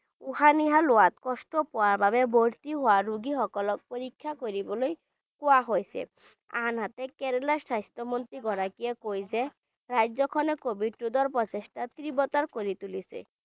উশাহ-নিশাহ লোৱাত কষ্ট পোৱাৰ বাবে ভৰ্তি হোৱা ৰোগীসকলক পৰীক্ষা কৰিবলৈ কোৱা হৈছে আনহাতে কেৰেলা স্বাস্থ্য মন্ত্ৰী গৰাকীয়ে কয় যে ৰাজ্যখনে covid ৰোধৰ প্ৰচেষ্টা তীব্ৰতৰ কৰি তোলিছে।